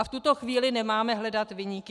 A v tuto chvíli nemáme hledat viníky.